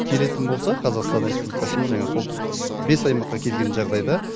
келетін болса қазақстан республикасына жаңағы солтүстік бес аймаққа келген жағдайда